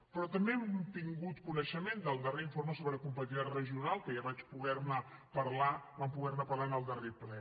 però també hem tingut coneixement del darrer informe sobre competitivitat regional que ja vaig poder ne parlar vam poder ne parlar en el darrer ple